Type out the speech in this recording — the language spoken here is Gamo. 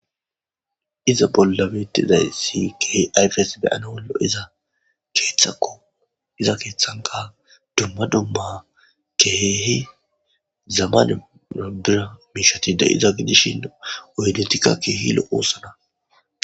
iza bollabetizay si keehi aiyfes beyana wollo iza keethakko iza keeththanka dumma dumma keheehi zamaneobira miishatida iza gidishin oydentika keehi lo oosana